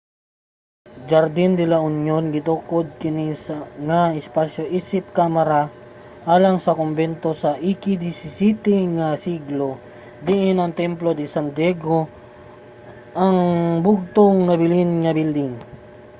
jardín de la unión. gitukod kini nga espasyo isip kamara alang sa kombento sa ika-17 nga siglo diin ang templo de san diego lang ang bugtong nabilin nga building